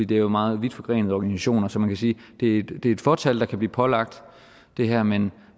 det er jo meget vidtforgrenede organisationer så man kan sige at det er et fåtal der kan blive pålagt det her men